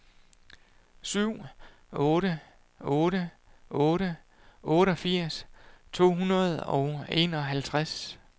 syv otte otte otte otteogfirs to hundrede og enoghalvtreds